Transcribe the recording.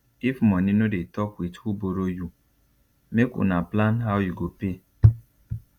if money no dey talk with who borrow you make una plan how you go pay